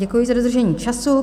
Děkuji za dodržení času.